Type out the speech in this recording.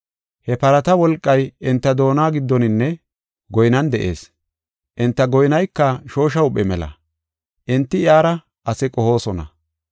He parata wolqay enta doona giddoninne goynan de7ees. Enta goynayka shoosha huuphe mela; enti iyara asaa qohoosona.